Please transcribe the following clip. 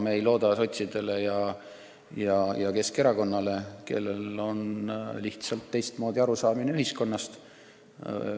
Me ei looda sotsidele ja Keskerakonnale, kellel on lihtsalt teistmoodi arusaamine ühiskonnast.